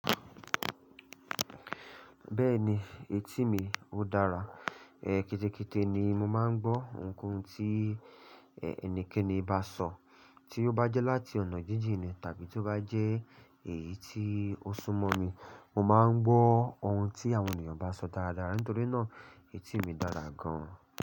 Bẹ́ẹ̀ni etí mi ó dára. Kétékété ni mo máa ń gbọ́ ohunkóhun tí ẹnikẹ́ni bá sọ, tí ó bá jẹ́ láti ọ̀nà jíjìn ni tàbí tí ó bá jẹ́ èyí tí ó sún mọ́ mi. Mo máa ń gbọ́ ohun tí àwọn ènìyàn bá ń sọ dáradára. Nítorí náà etí mi dára gan-an.